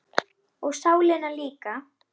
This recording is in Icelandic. Og sálina líka.